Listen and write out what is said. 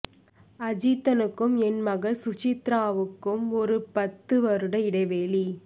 அஜித்தனுக்கும் என் மகள் சுசித்ராவிக்கும் ஒரு பத்து வருட இடைவெளி